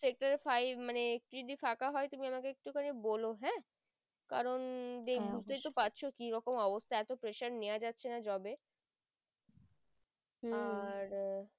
sector five মানে যদি ফাঁকা হয় তাহলে আমাকে একটু খানি বোলো হ্যাঁ কারণ বুজতেই তো পারছো কি রকম অবস্থা এত pressure নেওয়া যাচ্ছে না job এ আর